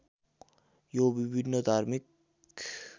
यी विभिन्न धार्मिक